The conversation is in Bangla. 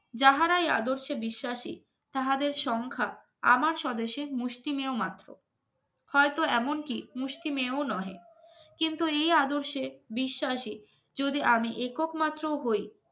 যাহারাই আদর্শে বিশ্বাসী তাহাদের সংখ্যা আমার স্বদেশের মুষ্টিমেয় মাত্র হয়তো এমনকি মুষ্টিমেয় নয় কিন্তু এই আদর্শে বিশ্বাসে যদি আমি এক একমাত্র হই